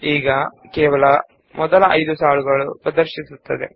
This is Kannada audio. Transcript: ಈಗ ಮೊದಲ 5 ಸಾಲುಗಳು ಮಾತ್ರ ಕಾಣಿಸುತ್ತಿವೆ